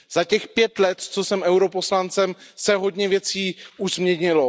Za těch pět let, co jsem europoslancem, se hodně věcí už změnilo.